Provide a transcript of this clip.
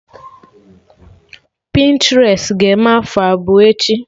Pịntrest ga-eme afọ abụọ echi